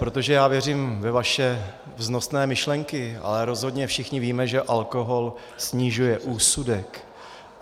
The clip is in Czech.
Protože já věřím ve vaše vznosné myšlenky, ale rozhodně všichni víme, že alkohol snižuje úsudek.